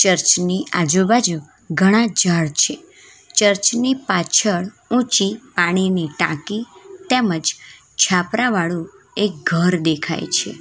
Church ની આજુબાજુ ઘણા ઝાડ છે ચર્ચ ની પાછળ ઊંચી પાણીની ટાંકી તેમજ છાપરા વાળુ એક ઘર દેખાય છે.